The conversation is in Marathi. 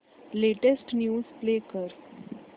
लेटेस्ट न्यूज प्ले कर